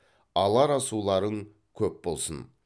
алар асуларың көп болсын